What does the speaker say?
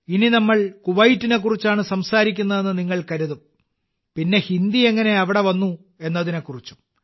ഇനി നമ്മൾ കുവൈറ്റിനെക്കുറിച്ചാണ് സംസാരിക്കുന്നതെന്ന് നിങ്ങൾ കരുതും പിന്നെ ഹിന്ദി എങ്ങനെ അവിടെ വന്നു എന്നതിനെ കുറിച്ചും